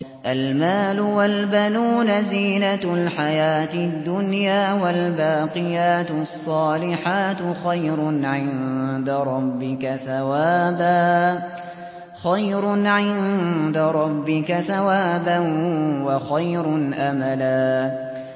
الْمَالُ وَالْبَنُونَ زِينَةُ الْحَيَاةِ الدُّنْيَا ۖ وَالْبَاقِيَاتُ الصَّالِحَاتُ خَيْرٌ عِندَ رَبِّكَ ثَوَابًا وَخَيْرٌ أَمَلًا